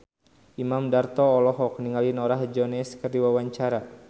Imam Darto olohok ningali Norah Jones keur diwawancara